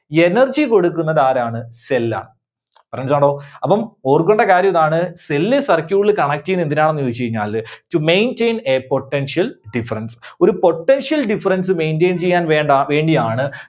Energy കൊടുക്കുന്നതാരാണ്? cell ആണ്. അപ്പം ഓർക്കണ്ട കാര്യമിതാണ് Cell circuit ല് connect ചെയ്യുന്നത് എന്തിനാണെന്ന് ചോദിച്ച് കഴിഞ്ഞാല് To maintain a potential difference. ഒരു potential difference maintain ചെയ്യാൻവേണ്ട~വേണ്ടിയാണ്.